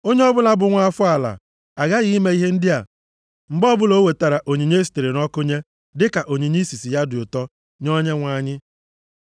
“ ‘Onye ọbụla bụ nwa afọ ala aghaghị ime ihe ndị a mgbe ọbụla o wetara onyinye e sitere nʼọkụ nye dịka onyinye isisi ya dị ụtọ nye Onyenwe anyị.